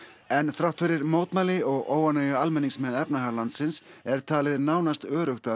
en þrátt fyrir mótmæli og óánægju almennings með efnahag landsins er talið nánast öruggt að